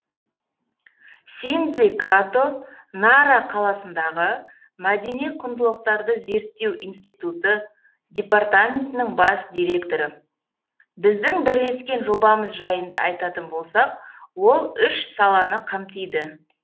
синдзи като нара қаласындағы мәдени құндылықтарды зерттеу институты департаментінің бас директоры біздің бірлескен жобамыз жайында айтатын болсақ ол үш саланы қамтиды